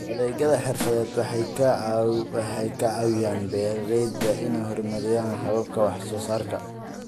Adeegyada xirfadeed waxay ka caawiyaan beeralayda inay horumariyaan hababka wax soo saarka.